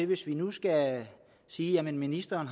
hvis vi nu skal sige at ministeren